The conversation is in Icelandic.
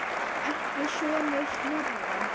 Ertu sonur Snorra?